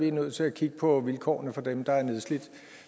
er nødt til at kigge på vilkårene for dem der er nedslidt